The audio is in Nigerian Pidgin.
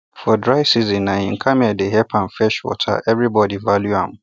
for dry season na him camel dey help am fetch water everybody value am